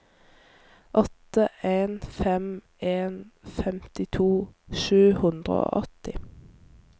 åtte en fem en femtito sju hundre og åtti